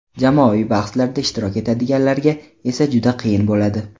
Jamoaviy bahslarda ishtirok etadiganlarga esa juda qiyin bo‘ladi.